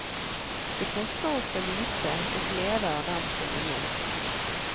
Det koster oss så lite, og gleder dem så mye.